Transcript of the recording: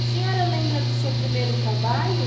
A senhora lembra do seu primeiro trabalho?